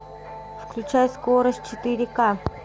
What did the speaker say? включай скорость четыре к